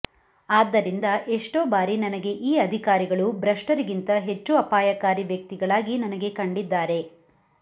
ಆದ್ದರಿಂದ ಎಷ್ಟೌ ಬಾರಿ ನನಗೆ ಈ ಅಧಿಕಾರಿಗಳು ಭೃಸ್ಟರಿಗಿಂತ ಹೆಚ್ಚು ಆಪಾಯಕಾರಿ ವ್ಯ್ತಕ್ತಿಗಳಾಗಿ ನನಗೆ ಕಂಡಿದ್ದಾರೆ